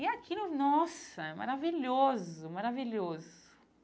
E aquilo, nossa, é maravilhoso, maravilhoso.